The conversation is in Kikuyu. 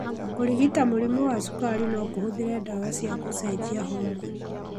Kũrigita mũrimũ wa cukari nokũhũthĩre ndawa cia gũcenjia homoni